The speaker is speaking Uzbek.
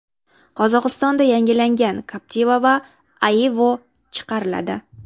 Qozog‘istonda yangilangan Captiva va Aveo chiqariladi.